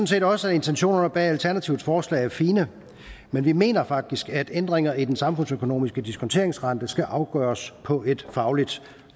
set også at intentionerne bag alternativets forslag er fine men vi mener faktisk at ændringer i den samfundsøkonomiske diskonteringsrente skal afgøres på et fagligt